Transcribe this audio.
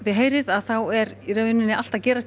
ið heyrið er allt að gerast